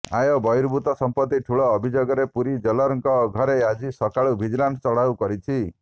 ଆୟ ବର୍ହିଭୂତ ସମ୍ପତି ଠୁଳ ଅଭିଯୋଗରେ ପୁରୀ ଜେଲରଙ୍କ ଘରେ ଆଜି ସକାଳୁ ଭିଜିଲାନ ଚଢାଉ କରିଛି